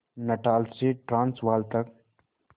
Natal से Transvaal तक